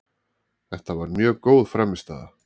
Þetta var mjög góð frammistaða